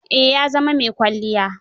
Eh, ya zama mai kwalliya.